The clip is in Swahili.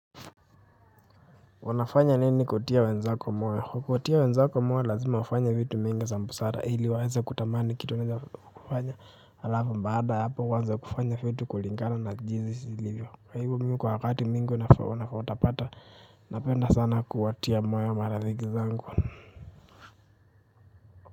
Unafanya nini kutia wenzako moyo kuwatia wenzako moyo lazima ufanye vitu mingi za busara ili waeza kutamani kitu unaeza kufanya halafu baada ya hapo uanze kufanya vitu kulingana na jinsi ilivyo kwa hivo mimi kwa wakati mingi utapata napenda sana kuwatia moyo wa marafiki zangu.